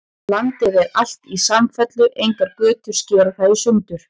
Landið er alt í samfellu, engar götur skera það í sundur.